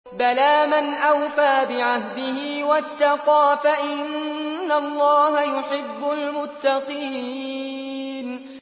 بَلَىٰ مَنْ أَوْفَىٰ بِعَهْدِهِ وَاتَّقَىٰ فَإِنَّ اللَّهَ يُحِبُّ الْمُتَّقِينَ